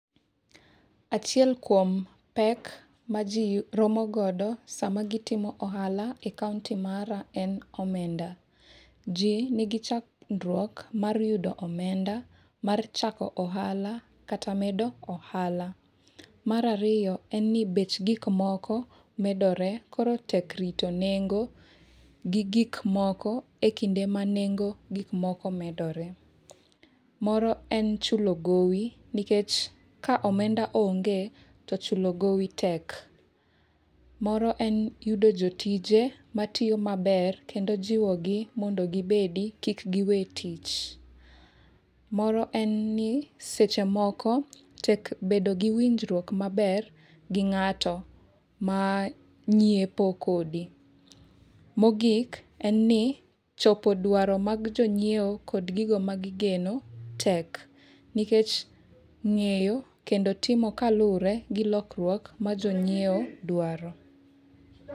Achiel kuom pek ma ji romo godo sama gitimo ohala e kaonti mara en omenda. Ji nigi chandruok mar yudo omenda mar chako ohala kata medo ohala. Mar ariyo en ni bech gik moko medore koro tek rito nengo gi gik moko e kinde ma nengo gik moko medore. Moro en chulo gowi nikech ka omenda onge, to chulo gowi tek. Moro en yudo jotije matiyo maber kendo jiwo gi mondo gibedi kik giwee tich. Moro en ni seche moko tek bedo gi winjruok maber gi ng'ato ma nyiepo kodi. Mogik, en ni, chopo dwaro mag jonyiewo kod gigo ma gigeno tek. Nikech ng'eyo kendo timo kaluwre gi lokruok ma jonyiewo dwaro.